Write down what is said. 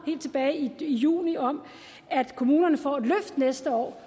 helt tilbage i juni om at kommunerne får et løft næste år